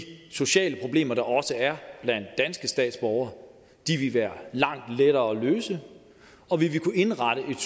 sociale problemer der også er blandt danske statsborgere de vil være langt lettere at løse og vi vil kunne indrette en